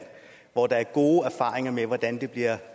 hvor der er gode erfaringer med hvordan det bliver